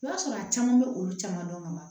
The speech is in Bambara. I b'a sɔrɔ a caman bɛ olu caman dɔn ka ban